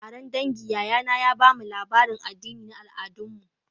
A taron dangi, yayana ya ba mu labarin addini na al'adunmu